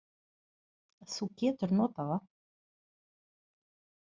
Þú getur notað það.